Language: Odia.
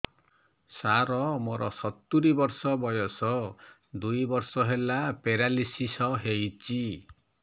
ସାର ମୋର ସତୂରୀ ବର୍ଷ ବୟସ ଦୁଇ ବର୍ଷ ହେଲା ପେରାଲିଶିଶ ହେଇଚି